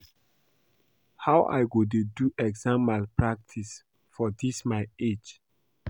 How I go dey do exam malpractice for dis my age